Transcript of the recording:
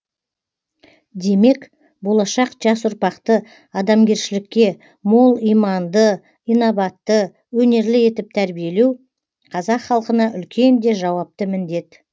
демек болашақ жас ұрпақты адамгершілікке мол иманды инабатты өнерлі етіп тәрбиелеу қазақ халқына үлкен де жауапты міндет